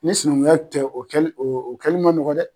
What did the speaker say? Ni sinankunya tɛ o kɛli man nɔgɔ dɛ!